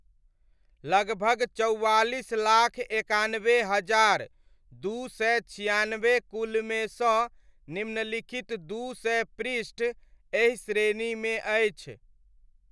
लगभग चौआलिस लाख एकानबे हजार दू सय छिआनबे कुलमे सँ निम्नलिखित दू सय पृष्ठ एहि श्रेणीमे अछि।